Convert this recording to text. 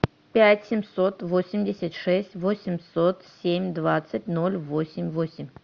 пять семьсот восемьдесят шесть восемьсот семь двадцать ноль восемь восемь